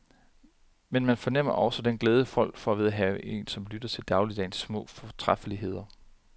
Men man fornemmer også den glæde folk får ved at have en som lytter til dagligdagens små fortrædeligheder.